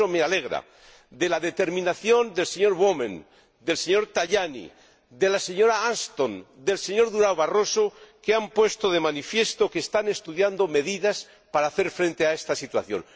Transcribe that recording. Por eso me alegra la determinación del señor Wammen, del señor Tajani, de la señora Ashton, del señor Durão Barroso, que han puesto de manifiesto que están estudiando medidas para hacer frente a esta situación.